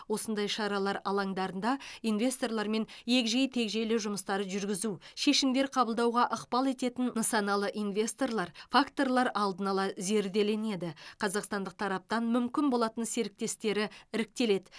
осындай шаралар алаңдарында инвесторлармен егжей тегжейлі жұмыстар жүргізу шешімдер қабылдауға ықпал ететін нысаналы инвесторлар факторлар алдын ала зерделенеді қазақстандық тараптан мүмкін болатын серіктестері іріктеледі